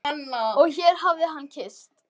Og hér hér hafði hann kysst